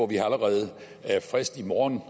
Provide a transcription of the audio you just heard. vi allerede har frist i morgen